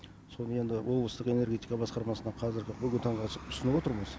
соны енді облыстық энергетика басқармасына қазіргі бүгінгі таңда ұсынып отырмыз